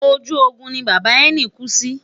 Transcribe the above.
ojú Ogun ni bàbá ẹni ku sí